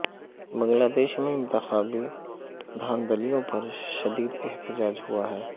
بنگلہ دیش میں انتخابی دہاندلیوں پر شدیداحتجاج ہوا ہے